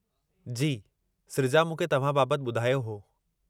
जी, सृजा मूंखे तव्हां बाबति ॿुधायो हो।